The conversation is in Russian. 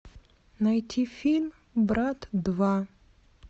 найти фильм брат два